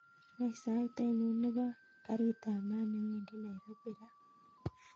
Wany sait ainon nebo garit ab maat newendi nairobi raa